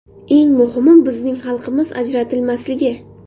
Eng muhimi, bizning xalqimiz ajratilmasligi.